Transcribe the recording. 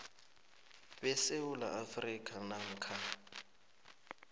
besewula afrika namkha